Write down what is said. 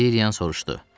Lilian soruşdu.